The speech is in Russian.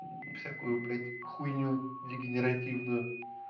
всякую блять хуйню дегенеративную